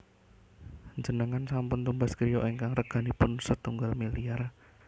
Njenengan sampun tumbas griya ingkang reganipun setunggal miliar?